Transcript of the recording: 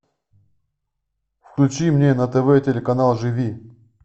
включи мне на тв телеканал живи